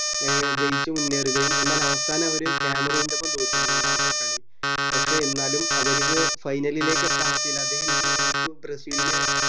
ഏർ ജയിച്ച് മുന്നേറുകയും എന്നാൽ അവസാനം അവർ കെമറോളൻടോപ്പം തോറ്റു മൂന്നാമത്തെ കളി പക്ഷെ എന്നാലും അവരു final ലേക്ക് എത്താൻ പറ്റീല അദ്ദേഹം എനിക്ക് എനിക്ക് തോന്നുന്നു ബ്രസീൽ നെ